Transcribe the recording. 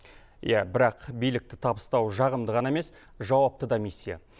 иә бірақ билікті табыстау жағымды ғана емес жауапты да миссия